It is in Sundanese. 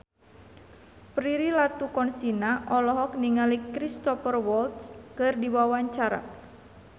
Prilly Latuconsina olohok ningali Cristhoper Waltz keur diwawancara